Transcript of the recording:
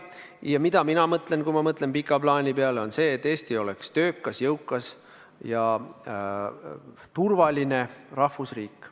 Ja mida ma mõtlen, kui ma mõtlen pika plaani peale, on see, et Eesti oleks töökas, jõukas ja turvaline rahvusriik.